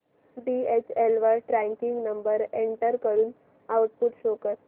DHL वर tracking number enter करून output show कर